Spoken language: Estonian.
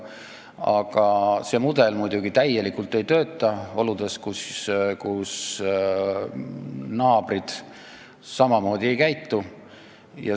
Aga see mudel muidugi täielikult ei tööta oludes, kus naabrid samamoodi ei käitu.